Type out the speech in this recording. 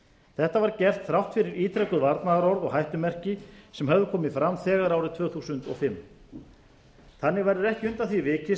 þetta var gert þrátt fyrir ítrekuð varnaðarorð og hættumerki sem höfðu komið framþegar árið tvö þúsund og fimm þannig verður ekki undan því vikist